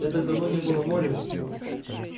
я так давно не был на море